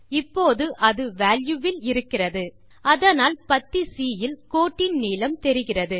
இப்போது அது வால்யூ வில் இருக்கிறது அதனால் பத்தி சி யில் கோட்டின் நீளம் தெரிகிறது